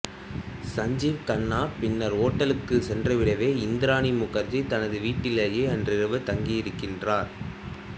சஞ்சீவ் கண்ணா பின்னர் ஓட்டலுக்கு சென்றுவிடவே இந்திராணி முகர்ஜி தமது வீட்டிலேயே அன்றிரவு தங்கியிருக்கின்றனர்